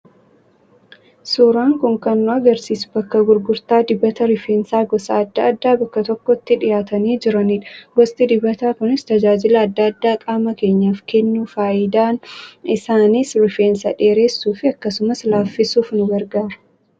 Suuraan kun kan nu agarsiisu bakka gurgurtaa dibata rifeensaa gosa adda addaa bakka tokkotti dhiyaatanii jiranidha. Gosti dibataa kunis tajaajila adda addaa qaama keenyaaf kennu. Faayidaan isaaniis rifeensa dheeressuu fi akkasumas laaffisuuf nu gargaaru.